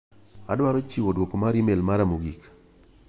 Awaro chiwo duoko mar imel mara mogik.